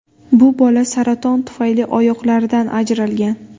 Bu bola saraton tufayli oyoqlaridan ajralgan.